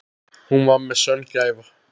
Hún var mér sönn gæfa.